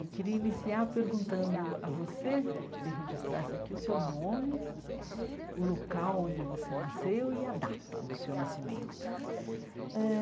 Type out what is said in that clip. E queria iniciar perguntando a você, se registrasse aqui o seu nome, o local onde você nasceu e a data do seu nascimento. Eh